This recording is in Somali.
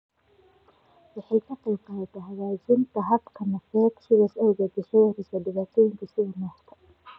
Waxay ka qaybqaadataa hagaajinta habka neefsashada, sidaas awgeed waxay yareysaa dhibaatooyinka sida neefta.